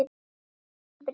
Þín, Brynja.